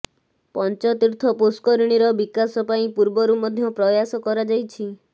ପଞ୍ଚତୀର୍ଥ ପୁଷ୍କରିଣୀର ବିକାଶ ପାଇଁ ପୂର୍ବରୁ ମଧ୍ୟ ପ୍ରୟାସ କରାଯାଇଛି